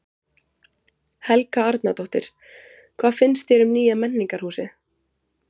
Helga Arnardóttir: Hvað finnst þér um nýja menningarhúsið?